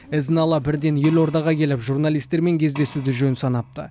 ізін ала бірден елордаға келіп журналистермен кездесуді жөн санапты